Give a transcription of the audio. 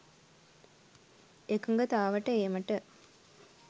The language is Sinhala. එකඟතාවට ඒමට